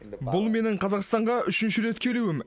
бұл менің қазақстанға үшінші рет келуім